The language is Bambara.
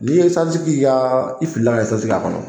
N'i ye esansi k'i ka i filila kɛ esansi k'a kɔnɔ.